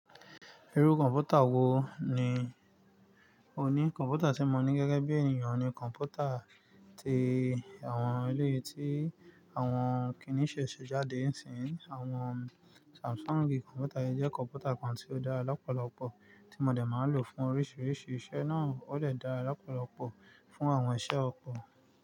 Irú kọ̀ǹpútà wo ni o ní? Kọ̀ǹpútà tí mo ní gẹ́gẹ́ bí ènìyàn ni kọ̀ǹpútà ti àwọn eleyii tí àwọn kìní ṣe ṣe jáde ń sìn. Àwọn Samsung kọ̀ǹpútà jẹ́ kọ̀ǹpútà kan tí ó dára lọ́pọ̀lọpọ̀ tí mo lè máa ń lò fún oríṣiríṣi iṣẹ́ náà ó lè dáa lọ́pọ̀lọpọ̀ fún àwọn iṣẹ́ ọ̀pọ̀